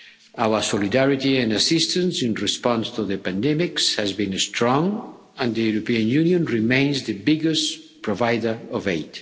Our solidarity and assistance in response to the pandemic has been strong and the European Union remains the biggest provider of aid.